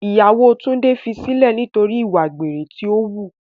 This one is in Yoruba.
Ìyàwó Túndé fi sílẹ̀ nítorí ìwà àgbèrè tí o wù.